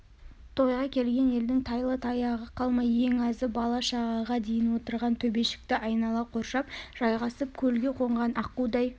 тойға келген елдің тайлы-таяғы қалмай ең азы бала-шағаға дейін отырған төбешікті айнала қоршап жайғасып көлге қонған аққудай